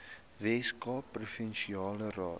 weskaapse provinsiale raad